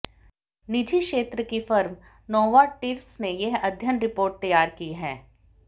निजी क्षेत्र की फर्म नोवार्टिस ने यह अध्ययन रिपोर्ट तैयार की है